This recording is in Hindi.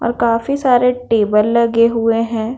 और काफी सारे टेबल लगे हुए हैं।